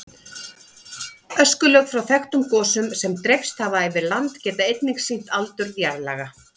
Öskulög frá þekktum gosum sem dreifst hafa yfir land geta einnig sýnt aldur jarðlaga.